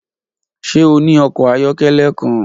Ṣe o ni ọkọ ayọkẹlẹ kan?